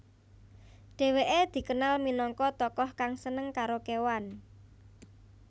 Dheweke dikenal minangka tokoh kang seneng karo kewan